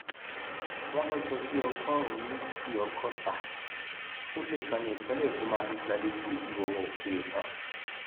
wọn lọjọ bíi ọgọrùnún méjì ọgọta ó lé ọkan ní ìpínlẹ èkó máa fi gbàlejò èjíwọwò ó kéré tán